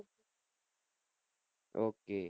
okay